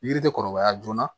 Yiri tɛ kɔrɔbaya joona